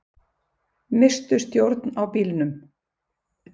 Misstu stjórn á bílnum